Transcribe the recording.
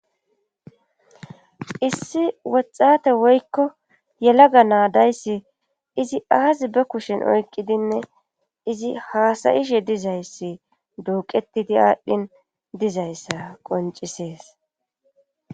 issi woxxate woykko yelaga naadayssi izi aaz ba kushen oykqidinne izi haasayishe dizayssi duuqettidi aadhdhin dizayssa qoncisees